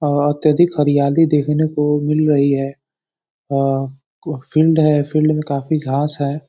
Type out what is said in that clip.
आआ तनिक हरियाली दिखने को मिल रही है। आ फील्ड है। फील्ड में काफी घास है।